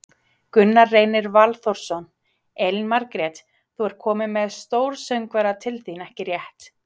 Gunnar Reynir Valþórsson: Elín Margrét, þú ert komin með stórsöngvara til þín, ekki rétt?